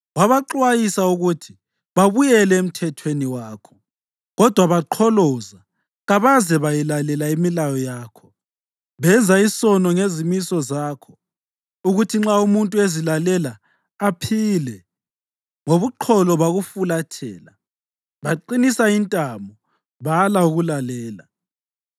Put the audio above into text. Wabaxwayisa ukuthi babuyele emthethweni wakho, kodwa baqholoza kabaze bayilalela imilayo yakho. Benza isono ngezimiso zakho, okuthi nxa umuntu ezilalela aphile. Ngobuqholo bakufulathela, baqinisa intamo, bala ukulalela.